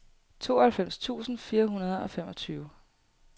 tooghalvfems tusind fire hundrede og femogtyve